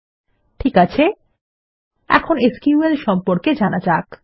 ঠিক আছে এখন এসকিউএল সম্পর্কে জানা যাক